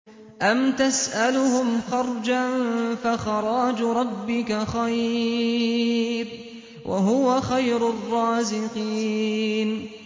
أَمْ تَسْأَلُهُمْ خَرْجًا فَخَرَاجُ رَبِّكَ خَيْرٌ ۖ وَهُوَ خَيْرُ الرَّازِقِينَ